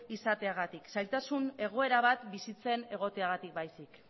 izateagatik zailtasun egoera bat bizitzen egoteagatik baizik